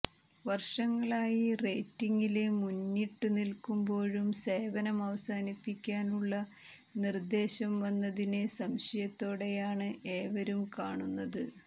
വര്ഷങ്ങളായി റേറ്റിങ്ങില് മുന്നിട്ടുനില്ക്കുമ്പോഴും സേവനം അവസാനിപ്പിക്കാനുള്ള നിര്ദേശം വന്നതിനെ സംശയത്തോടെയാണ് ഏവരും കാണുന്നത്